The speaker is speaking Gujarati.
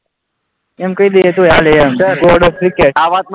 એમ કહી દઈએ તોય ચાલે એમ ગોડ ઓફ ક્રિકેટ